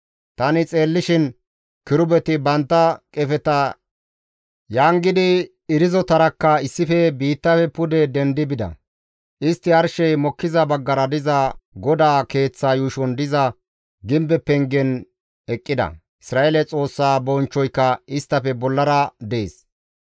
Tani xeellishin kirubeti bantta qefeta yangidi irzotarakka issife biittafe pude dendi bida. Istti arshey mokkiza baggara diza GODAA keeththa yuushon diza gimbe pengen eqqida; Isra7eele Xoossa bonchchoyka isttafe bollara dees.